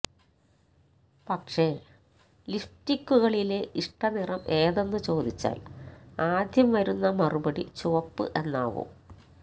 പക്ഷേ ലിപ്സ്റ്റിക്കുകളിലെ ഇഷ്ടനിറം ഏതെന്നു ചോദിച്ചാല് ആദ്യം വരുന്ന മറുപടി ചുവപ്പ് എന്നാവും